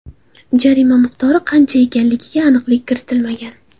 Jarima miqdori qancha ekanligiga aniqlik kiritilmagan.